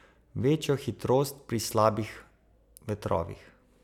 Večjo hitrost pri slabih vetrovih.